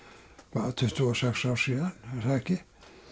hvað tuttugu og sex ár síðan er það ekki